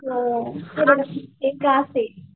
हो एक क्लास ये